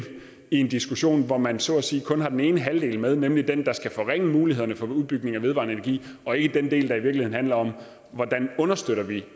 i en diskussion hvor man så at sige kun har den ene halvdel med nemlig den der skal forringe mulighederne for udbygning af vedvarende energi og ikke den del der i virkeligheden handler om hvordan vi understøtter